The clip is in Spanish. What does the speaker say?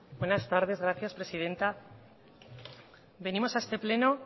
buenas tardes gracias presidenta venimos a este pleno